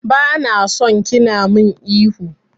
Bana son kina min ihu.